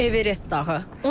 Everest dağı.